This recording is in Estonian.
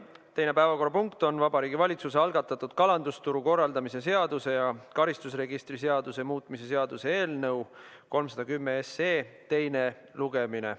Teine päevakorrapunkt on Vabariigi Valitsuse algatatud kalandusturu korraldamise seaduse ja karistusregistri seaduse muutmise seaduse eelnõu 310 teine lugemine.